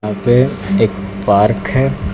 यहां पे एक पार्क है।